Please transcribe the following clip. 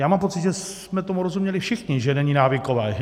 Já mám pocit, že jsme tomu rozuměli všichni, že není návyková.